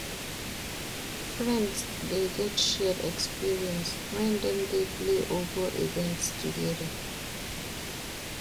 Friends de get shared experience when dem de play or go events together